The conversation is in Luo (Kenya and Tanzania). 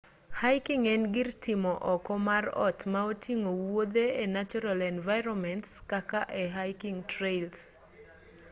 hiking en gir timo oko mar ot ma oting'o wuothe e natural environments kaka e hiking trails